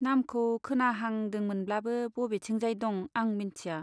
नामखौ खोनाहांदोंमोनब्लाबो बबेथिंजाय दं आं मोनथिया।